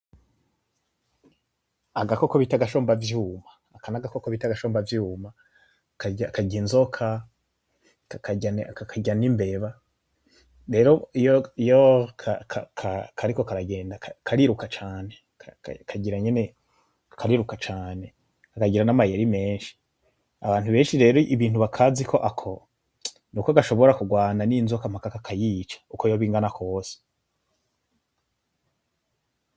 Agakoko bita agashombavyuma. Aka nagakoko bita agashombavyuma karya inzoka, kakarya n'imbeba. Rero iyo kariko karagenda kariruka cane kagira nyene kariruka cane kakagira nama yeri meshi. Abantu benshi rero ibintu bakaziko ako, nuko gashobora kugwana n'inzoka mpaka kakayica uko yoba ingana kose.